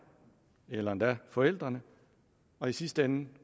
eller endda forældrene og i sidste ende